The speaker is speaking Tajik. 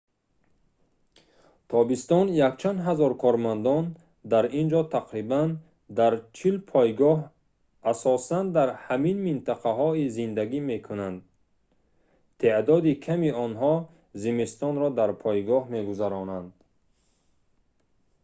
тобистон якчанд ҳазор кормандон дар ин ҷо тақрибан дар чил пойгоҳ асосан дар ҳамин минтақаҳо зиндагӣ мекунанд теъдоди ками онҳо зимистонро дар пойгоҳ мегузаронанд